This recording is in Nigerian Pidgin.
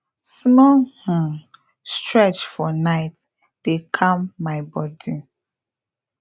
small um stretch for night dey calm my body